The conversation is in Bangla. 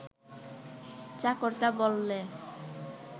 চাকরটা বললে